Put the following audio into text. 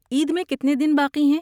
عید میں کتنے دن باقی ہیں؟